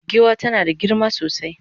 giwa tana da girma sosai